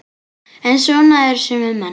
En svona eru sumir menn.